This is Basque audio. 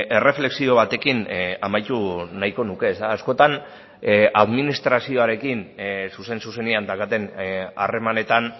erreflexio batekin amaitu nahiko nuke ezta askotan administrazioarekin zuzen zuzenean daukaten harremanetan